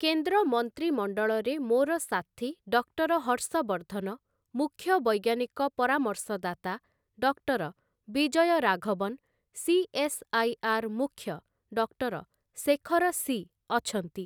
କେନ୍ଦ୍ର ମନ୍ତ୍ରିମଣ୍ଡଳରେ ମୋର ସାଥୀ ଡକ୍ଟର ହର୍ଷବର୍ଦ୍ଧନ, ମୁଖ୍ୟ ବୈଜ୍ଞାନିକ ପରାମର୍ଶଦାତା ଡକ୍ଟର ବିଜୟ ରାଘବନ, ସି.ଏସ୍‌.ଆଇ.ଆର୍‌. ମୁଖ୍ୟ ଡକ୍ଟର ଶେଖର ସି. ଅଛନ୍ତି ।